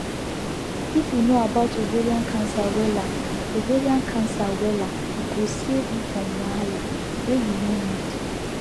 if you know about ovarian cancer wella ovarian cancer wella e go save you from wahala wey you no need